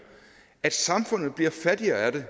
at samfundet bliver fattigere af det